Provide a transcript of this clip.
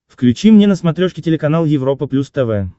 включи мне на смотрешке телеканал европа плюс тв